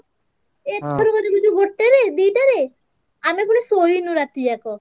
ଏଥର ଗୋଟେରେ ଦିଟାରେ ଆମେ ପୁଣି ଶୋଇନୁ ରାତି ଯାକ।